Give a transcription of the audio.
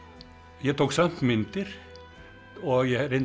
ég tók samt myndir og ég reyndi